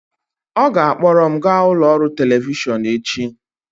ọ ga-akpọrọ m gaa ụlọ ọrụ telivishọn echi